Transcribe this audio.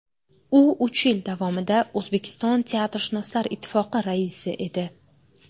U uch yil davomida O‘zbekiston teatrshunoslar ittifoqi raisi edi.